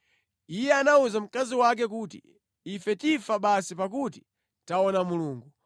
Iye anawuza mkazi wake kuti, “Ife tifa basi pakuti taona Mulungu!”